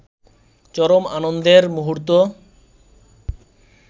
চরম আনন্দের মুহূর্ত